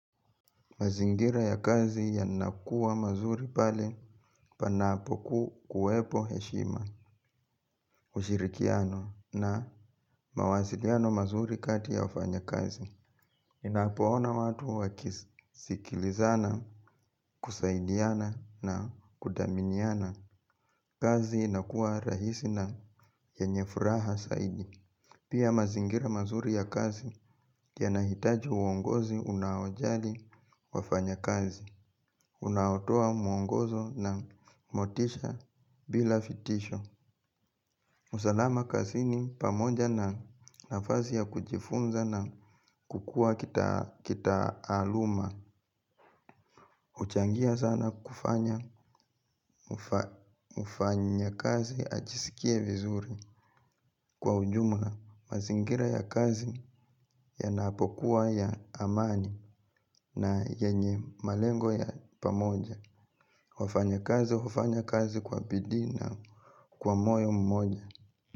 Mazingira ya kazi yanakuwa mazuri pale panapoku kuwepo heshima ushirikiano na mawasiliano mazuri kati ya wafanyakazi. Ninapoona watu wakisikilizana, kusaidiana na kuthaminiana kazi inakuwa rahisi na yenye furaha zaidi. Pia mazingira mazuri ya kazi yanahitaji uongozi unaojali wafanyakazi. Unaotoa mwongozo na motisha bila fitisho. Usalama kasini pamoja na nafazi ya kujifunza na kukua kitaaluma huchangia sana kufanya mfanyakazi achisikie vizuri. Kwa ujumla mazingira ya kazi yanapokuwa ya amani na yenye malengo ya pamoja wafanyakazi, hufanya kazi kwa bidii na, kwa moyo mmoja.